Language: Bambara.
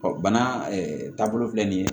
bana taabolo filɛ nin ye